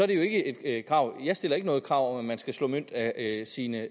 det jo ikke et krav jeg stiller ikke noget krav om at man skal slå mønt af sine